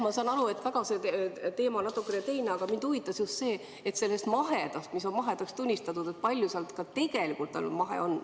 Ma saan aru, et teema on natukene teine, aga mind huvitab just see, kui palju sellest mahedast, mis on mahedaks tunnistatud, ka tegelikult nüüd mahe on.